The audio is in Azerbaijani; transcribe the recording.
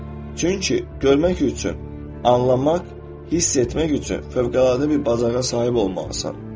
Çünki görmək üçün anlamaq, hiss etmək üçün fövqəladə bir bacarığa sahib olmalısan.